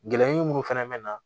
Gɛlɛn minnu fɛnɛ bɛ na